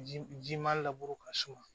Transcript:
Ji ji ma labure ka surun